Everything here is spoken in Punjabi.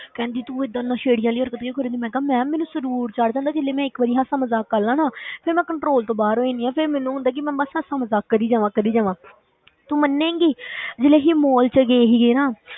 ਕਹਿੰਦੀ ਤੂੰ ਏਦਾਂ ਨਸ਼ੇੜੀ ਵਾਲੀਆਂ ਹਰਕਤਾਂ ਕਿਉਂ ਕਰਦੀ, ਮੈਂ ਕਿਹਾ ma'am ਮੈਨੂੰ ਸ਼ਰੂਰ ਚੜ੍ਹ ਜਾਂਦਾ, ਜੇ ਮੈਂ ਇੱਕ ਵਾਰੀ ਹਾਸਾ ਮਜਾਕ ਕਰ ਲਵਾਂ ਨਾ ਫਿਰ ਮੈਂ control ਤੋਂ ਬਾਹਰ ਹੋ ਜਾਂਦੀ ਹਾਂ, ਫਿਰ ਮੈਨੂੰ ਹੁੰਦਾ ਹੈ ਕਿ ਮੈਂ ਬਸ ਹਾਸਾ ਮਜਾਕ ਕਰੀ ਜਾਵਾਂ ਕਰੀ ਜਾਵਾਂ ਤੂੰ ਮੰਨੇਗੀ ਜਦੋਂ ਅਸੀਂ mall ਵਿੱਚ ਗਏ ਸੀਗੇ ਨਾ,